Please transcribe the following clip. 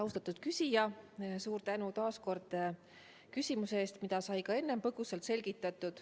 Austatud küsija, suur tänu taas kord küsimuse eest!